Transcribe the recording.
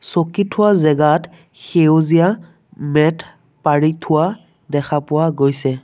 চকী থোৱা জেগাত সেউজীয়া মেট পাৰি থোৱা দেখা পোৱা গৈছে।